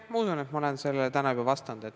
Ma usun, et ma olen sellele täna juba vastanud.